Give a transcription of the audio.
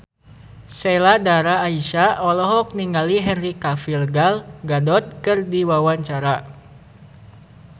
Sheila Dara Aisha olohok ningali Henry Cavill Gal Gadot keur diwawancara